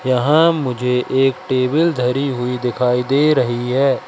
यहां मुझे एक टेबल धरी हुई दिखाई दे रही है।